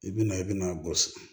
I bɛna i bɛna bɔ sigi